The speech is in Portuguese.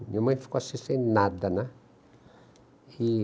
Minha mãe ficou assim sem nada, né? E...